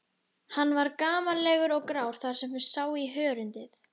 Hann var gamallegur og grár þar sem sá í hörundið.